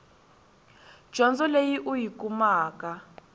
dyondzo leyi u yi kumaka